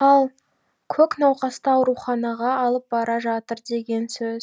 ал көк науқасты ауруханаға алып бара жатыр деген сөз